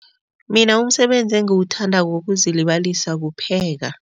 Mina umsebenzi engiwuthandako wokuzilibalisa kupheka.